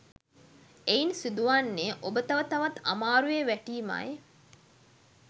එයින් සිදුවන්නේ ඔබ තව තවත් අමාරුවේ වැටීමයි.